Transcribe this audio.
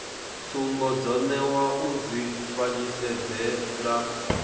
tsumbo dzo newa u dzifanyisedzele